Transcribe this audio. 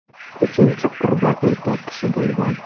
Uchinchi qurbon erkak kishi bo‘lgan.